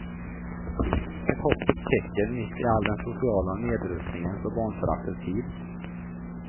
Ett hoppets tecken mitt i all den sociala nedrustningens och barnföraktets tid.